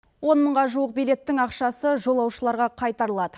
он мыңға жуық билеттің ақшасы жолаушыларға қайтарылады